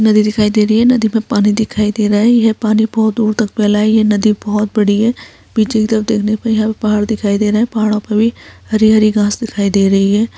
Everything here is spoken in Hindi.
नदी दिखाई दे रही है। नदी मे पानी दिखाई दे रहा है। यह पानी बहुत दूर तक फैला है। यह नदी बहुत बड़ी है। पीछे की तरफ देखने पे यहां पहाड़ दिखाई दे रहे हैं। पहाड़ो पे भी हरी हरी घास दिखाई दे रही है।